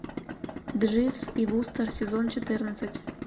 дживс и вустер сезон четырнадцать